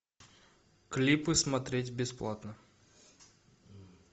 клипы смотреть бесплатно